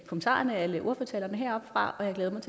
kommentarerne og alle ordførertalerne heroppefra